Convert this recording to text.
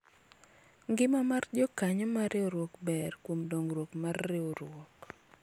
ngima mar jokanyo mar riwruok ber kuom dongruok mar riwruok